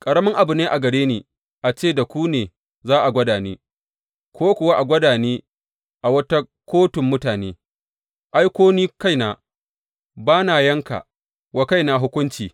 Ƙaramin abu ne a gare ni a ce ku ne za ku gwada ni, ko kuwa a gwada ni a wata kotun mutane, ai, ko ni kaina ba na yanka wa kaina hukunci.